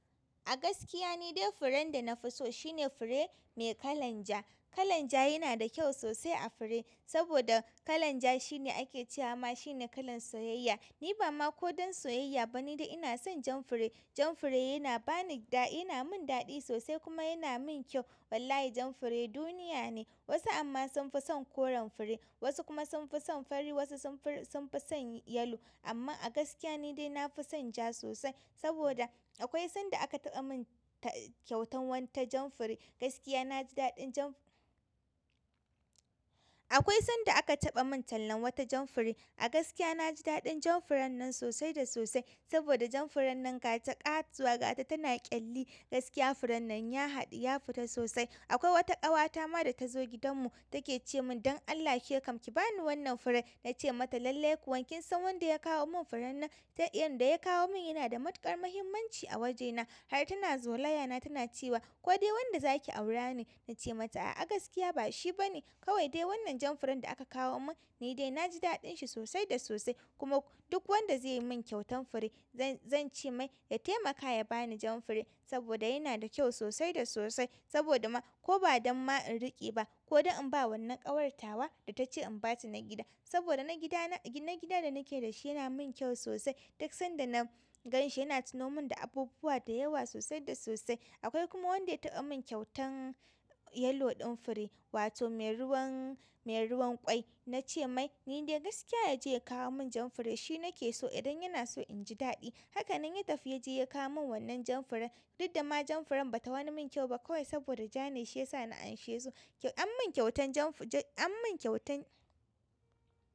A gaskiya ni dai furen da na fi so shine fure mai kalan ja. Kalan ja yana da kyau sosai a fure, saboda kalan ja shine ake cewa ma shine kalan soyayya. Ni ba ma ko don soyayya ba ni dai ina son jan fure. Jan fure yana mun daɗi sosai kuma yana mun kyau. Wallahi jan fure duniya ne. Wasu amma sun fi son koren fure wasu kuma sun fi son fari, wasu sun fi son yellow. Amma a gaskiya ni dai na fi son ja sosai. Saboda akwai sanda aka taɓa min kyautan wata jan fure, gaskiya na ji daɗin jan-- akwai sanda aka taɓa min tallan wata jan fure. A gaskiya na ji daɗin jan furen nan sosai da sosai. Saboda jan furen nan gata ƙauwa ƙata tana ƙyalli. Gaskiya furen nan ya haɗu, ya fita sosai. Akwai wata ƙawata ma da ta zo gidanmu take ce min "ɗan Allah ke kam ki bani wannan fure." Na ce mata "lallai kuwa, kin san wanda ya kawo mun furen nan? Ta iya wanda ya kawo min yana da matuƙar muhimmanci a wajena." Har tana zolaya na tana cewa "ko dai wanda zaki aura ne." Na ce mata "a'a a gaskiya ba shi bane." Kawai dai wannan jan furen da aka kawo min ni dai na ji daɗin shi sosai da sosai, kuma duk wanda zai yi mun kyautan fure zan ce mai ya taimaka ya bani jan fure saboda yana da kyau sosai da sosai. Saboda ma ko ba don ma in riƙe ba, ko don in ba wannan ƙawarta ba da ta ce in ba ta na gida. Saboda na gida na-na gidan da nake da shi yana min kyau sosai. Duk sanda na ganshi yana tuno mun da abubuwa da yawa sosai da sosai. Akwai kuma wanda ya taɓa mun kyautan yalo ɗin fure, wato mai ruwan-mai ruwan ƙwai. Na ce mai "ni dai gaskiya ya je ya kawo mun jan fure shi nake so idan yana so in ji daɗi." Haka nan ya tafi ya je ya kawo mun wannan jan furen. Dudda ma jan furen bata wani mun kyau ba kawai saboda ja ne shi yasa na amshe so. An mun kyautan jan fu-- an mun kyautan.